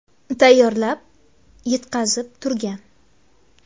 tayyorlab, yetkazib turgan.